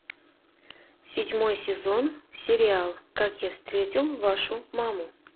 седьмой сезон сериал как я встретил вашу маму